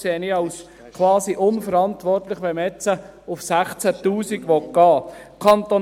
Ich erachte es quasi als unverantwortlich, wenn man jetzt auf 16 000 Franken gehen will.